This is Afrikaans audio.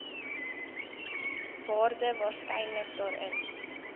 waarde waarskynlik daarin